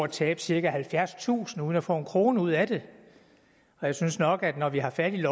tabe cirka halvfjerdstusind kroner uden at få en krone ud af det og jeg synes nok at det når vi har fat i